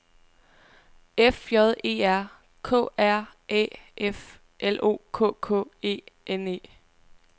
F J E R K R Æ F L O K K E N E